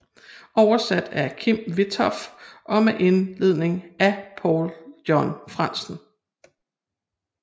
Oversat af Kim Witthoff og med indledning af Paul John Frandsen